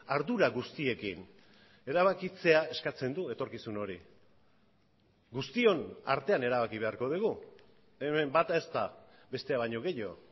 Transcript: ardura guztiekin erabakitzea eskatzen du etorkizun hori guztion artean erabaki beharko dugu hemen bat ez da bestea baino gehiago